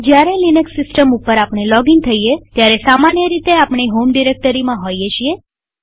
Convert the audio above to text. જયારે લિનક્સ સિસ્ટમમાં લોગિન થઈએ ત્યારે સામાન્ય રીતે આપણે હોમ ડિરેક્ટરીમાં હોઈએ છીએ